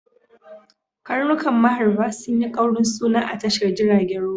Karnukan maharba sun yi kaurin suna a tashar jiragen ruwa.